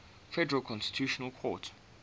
federal constitutional court